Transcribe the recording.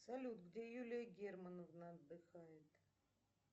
салют где юлия германовна отдыхает